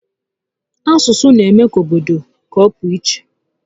Asụsụ n'eme obodo ka ọ pụọ íchè